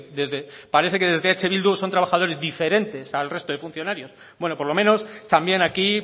desde parece que desde eh bildu son trabajadores diferentes al resto de funcionarios bueno por lo menos también aquí